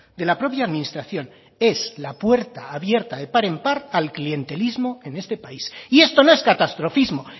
de la propia administración es la puerta abierta de par en par al clientelismo en este país y esto no es catastrofismo